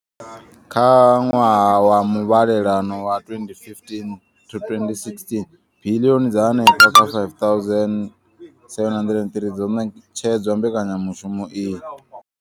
Kha ṅwaha wa muvhalelano wa 2015 to 2016, biḽioni dza henefha kha R5 703 dzo ṋetshedzwa mbekanyamushumo iyi.